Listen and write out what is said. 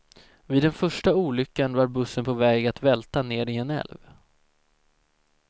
Vid den första olyckan var bussen på väg att välta ner i en älv.